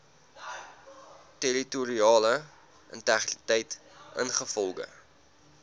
territoriale integriteit ingevolge